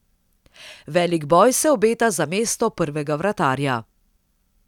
Velik boj se obeta za mesto prvega vratarja.